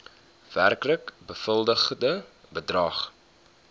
werklik bewilligde bedrag